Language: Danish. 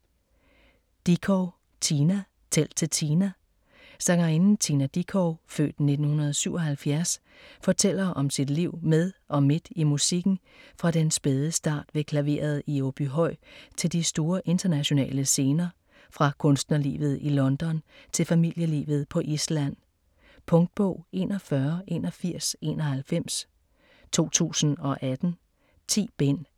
Dickow, Tina: Tæl til Tina Sangerinden Tina Dickow (f. 1977) fortæller om sit liv med og midt i musikken fra den spæde start ved klaveret i Åbyhøj til de store internationale scener, fra kunstnerlivet i London til familielivet på Island. Punktbog 418191 2018. 10 bind.